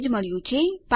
ચાલો જોઈએ શું થયું છે